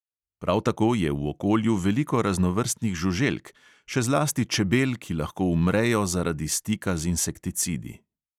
Prav tako je v okolju veliko raznovrstnih žuželk, še zlasti čebel, ki lahko umrejo zaradi stika z insekticidi.